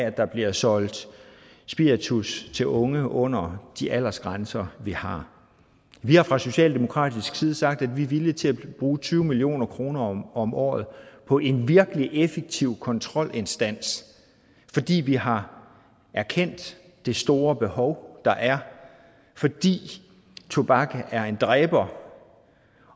at der bliver solgt spiritus til unge under de aldersgrænser vi har vi har fra socialdemokratisk side sagt at vi er villige til at bruge tyve million kroner om året på en virkelig effektiv kontrolinstans fordi vi har erkendt det store behov der er fordi tobak er en dræber